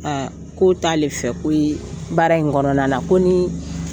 Aa k'o t'ale fɛ ko ye baara in kɔnɔna na ko ni